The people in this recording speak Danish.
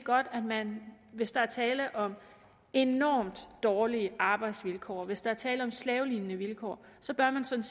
at man hvis der er tale om enormt dårlige arbejdsvilkår hvis der er tale om slavelignende vilkår sådan set